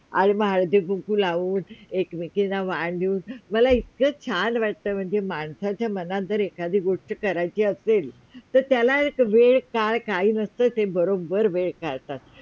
हम्म हळदी कुंकू लावून एक - मेकींना वाण देऊन मला इतक छान वाटतं म्हणजे माणसाच्या मनात जर एखादी गोष्टी करायची असेल तर त्याला एक वेळ काळ काही नसतं ते बरोबर वेळ काढतात